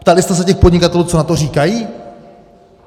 Ptali jste se těch podnikatelů, co na to říkají?